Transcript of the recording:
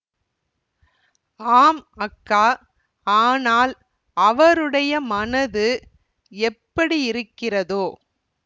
ஆம் அக்கா ஆனால் அவருடைய மனது எப்படியிருக்கிறதோ